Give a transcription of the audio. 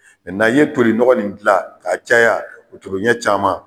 Mɛ na ye tori nɔgɔ in dilan ka caya , o toriɲɛ caman.